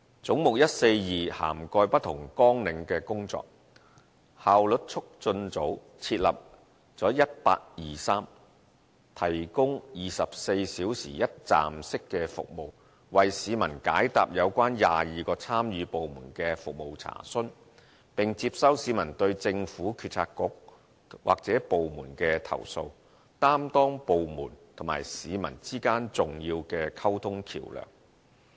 總目142涵蓋不同綱領的工作，效率促進組設立了 1823， 提供24小時一站式的服務，為市民解答有關22個參與部門的服務查詢，並接收市民對政府政策局或部門的投訴，擔當部門和市民之間的重要溝通橋樑。